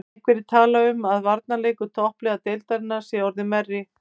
Einhverjir tala um að varnarleikur toppliða deildarinnar sé orðinn verri.